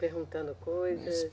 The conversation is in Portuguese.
Perguntando coisas?